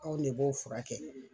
Anw de b'o furakɛ